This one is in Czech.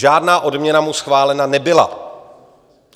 Žádná odměna mu schválena nebyla.